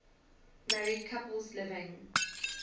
married couples living